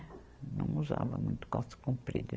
Não usava muito calça comprida.